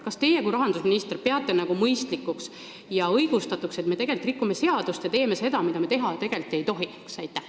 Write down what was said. Kas teie kui rahandusminister peate mõistlikuks ja õigustatuks, et me rikume seadust ja teeme seda, mida me tegelikult teha ei tohiks?